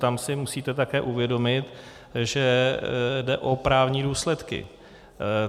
Tam si musíte také uvědomit, že jde o právní důsledky.